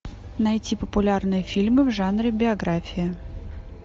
найти популярные фильмы в жанре биография